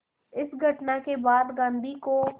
इस घटना के बाद गांधी को